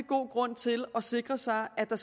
grund til at sikre sig at der